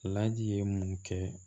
Laji ye mun kɛ